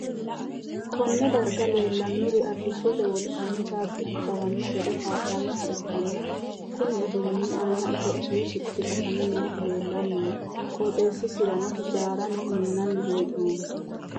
Kunni darga leelanori arishote wolqanni caabichu xawano gede kaa'lanoha ikanna konni uduunni aanna itophiyu sicci qasame noohu leelanni no. qooxeesisera hijaarano minnanni hee'noonni.